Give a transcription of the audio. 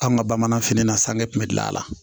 An ka bamananfini na sanni tun bɛ dilan a la